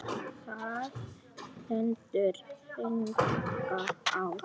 Það stendur þannig á.